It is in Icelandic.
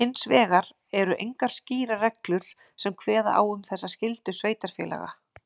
Hins vegar eru engar skýrar reglur sem kveða á um þessa skyldu sveitarfélaga.